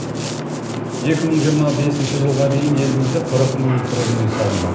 екі мың жиырма бесінші жылға дейін елімізде қырық мың тұрғын үй салынбақ